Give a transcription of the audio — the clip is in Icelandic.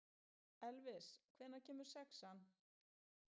Elvis, hvenær kemur sexan?